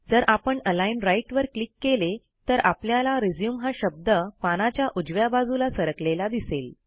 जर आपण align right वर क्लिक केले तर आपल्याला रिझ्यूम हा शब्द पानाच्या उजव्या बाजूला सरकलेला दिसेल